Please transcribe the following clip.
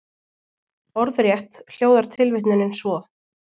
Orðrétt hljóðar tilvitnunin svo:.